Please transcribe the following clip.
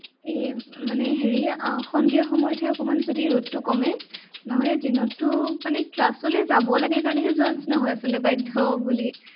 এৰ মানে হেৰি আহ সন্ধিয়াৰ সময়ত হে অকণমান যদি ৰ'দটো কমে, নহলে দিনতো মানে class লে যাব লাগে কাৰণেহে যোৱাৰ নিচিনা হয় আচলতে বাধ্য় বুলি।